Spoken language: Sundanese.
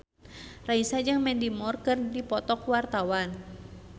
Raisa jeung Mandy Moore keur dipoto ku wartawan